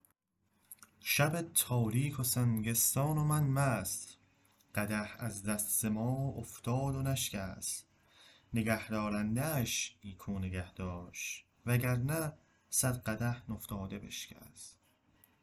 شب تاریک و سنگستان و مو مست قدح از دست مو افتاد و نشکست نگهدارنده اش نیکو نگهداشت و گرنه صد قدح نفتاده بشکست